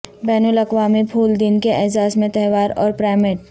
بین الاقوامی پھول دن کے اعزاز میں تہوار اور پیرامیڈ